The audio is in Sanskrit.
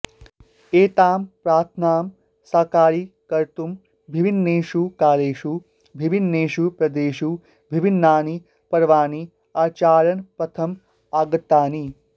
एतां प्रार्थनां साकारीकर्तुं विभिन्नेषु कालेषु विभिन्नेषु प्रदेशेषु विभिन्नानि पर्वाणि आचरणपथम् आगतानि